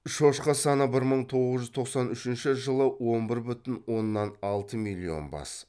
шошқа саны бір мың тоғыз жүз тоқсан үшінші жылы он бір бүтін оннан алты миллион бас